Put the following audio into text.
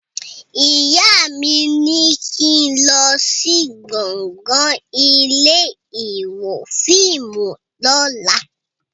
Ìyá mi ní kín lọ sí gbọ̀ngàn ilé ìwo fíìmù lóla